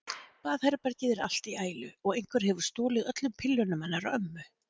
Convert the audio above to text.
Baðherbergið er allt í ælu og einhver hefur stolið öllum pillunum hennar ömmu.